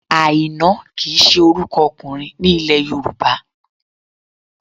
Àìná kì í ṣe orúkọ ọkùnrin ní ilẹ̀ Yorùbá